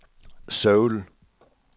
Seoul